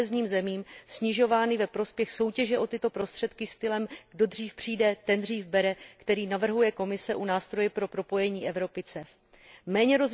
kohezním zemím, snižovány ve prospěch soutěže o tyto prostředky stylem kdo dřív přijde, ten dřív bere, který navrhuje Komise u nástroje pro propojení Evropy Méně